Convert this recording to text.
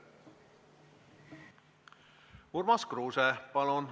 Urmas Kruuse, palun!